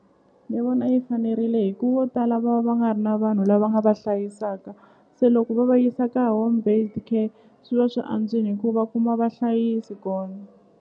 Ni vona yi fanerile hi ku vo tala va va nga ri na vanhu lava nga va hlayisaka se loko va va yisa ka home base care swi va swi antswini hi ku va kuma vahlayisi kona.